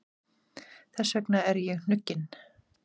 Þess vegna er ég hnugginn.